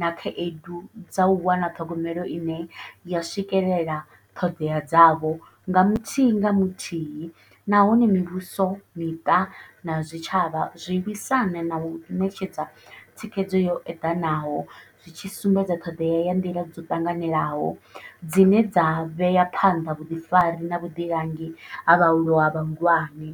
na khaedu dza u wana ṱhogomelo ine ya swikelela ṱhodea dzavho nga muthihi nga muthihi, nahone mivhuso miṱa na zwitshavha zwi lwisana nau ṋetshedza dza thikhedzo yo eḓanaho zwi tshi sumbedza ṱhoḓea ya nḓila dzo ṱanganelaho, dzine dza vhea phanḓa vhuḓifari na vhuḓilangi ha vhahulwane vhahulwane.